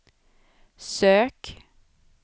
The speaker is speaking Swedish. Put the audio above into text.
sök